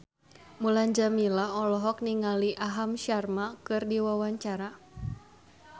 Mulan Jameela olohok ningali Aham Sharma keur diwawancara